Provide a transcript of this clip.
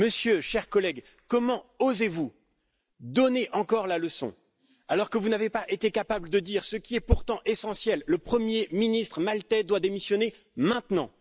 Monsieur, chers collègues, comment osez vous donner encore des leçons alors que vous n'avez pas été capables de dire ce qui est pourtant essentiel le premier ministre maltais doit démissionner maintenant.